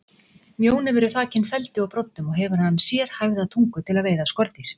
Mjónefur er þakinn feldi og broddum og hefur hann sérhæfða tungu til að veiða skordýr.